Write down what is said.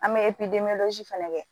An bɛ fɛnɛ kɛ